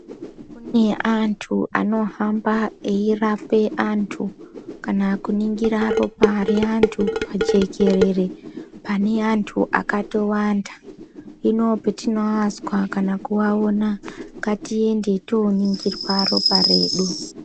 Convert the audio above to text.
Kune antu anohamba eirape antu kana kuningira ropa reantu panjekerere pane antu akatowanda Hino patinoanzwa kana kuaona ngatiende tinoningirwa ropa redu.